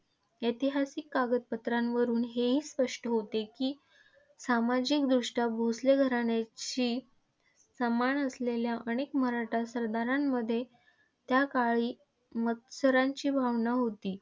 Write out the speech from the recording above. ऐतिहासिक कागदपत्रांवरुन हे स्पष्ट होते की, सामाजिकदृष्ट्या भोसले घराण्याशी समान असलेल्या अनेक मराठा सरदारांमध्ये त्याकाळी मत्सराची भावना होती.